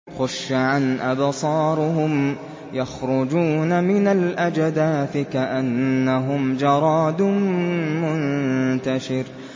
خُشَّعًا أَبْصَارُهُمْ يَخْرُجُونَ مِنَ الْأَجْدَاثِ كَأَنَّهُمْ جَرَادٌ مُّنتَشِرٌ